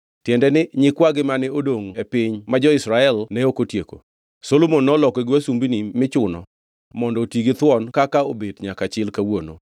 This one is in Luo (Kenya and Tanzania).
tiende ni, nyikwagi mane odongʼ e piny, ma jo-Israel ne ok otieko; Solomon nolokogi wasumbini michuno mondo oti githuon, kaka obet nyaka chil kawuono.